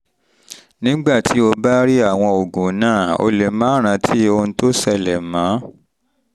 nígbà tí o bá rí àwọn oògùn náà o lè má rántí ohun tó ṣẹlẹ̀ mọ́